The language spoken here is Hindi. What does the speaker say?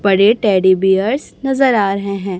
बड़े टेडी बीयर्स नजर आ रहे हैं।